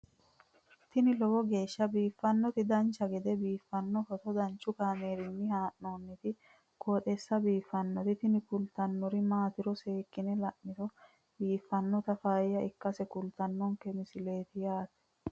tini lowo geeshsha biiffannoti dancha gede biiffanno footo danchu kaameerinni haa'noonniti qooxeessa biiffannoti tini kultannori maatiro seekkine la'niro biiffannota faayya ikkase kultannoke misileeti yaate